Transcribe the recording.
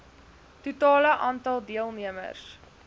totale aantal deelnemers